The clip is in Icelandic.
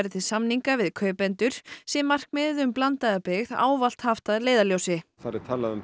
til samninga við kaupendur sé markmiðið um blandaða byggð ávallt haft að leiðarljósi þar er talað um